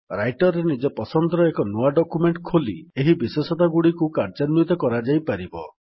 Writer ରେ ନିଜ ପସନ୍ଦର ଏକ ନୂଆ ଡକ୍ୟୁମେଣ୍ଟ୍ ଖୋଲି ଏହି ବିଶେଷତାଗୁଡ଼ିକୁ କାର୍ଯ୍ୟାନ୍ୱିତ କରାଯାଇପାରିବ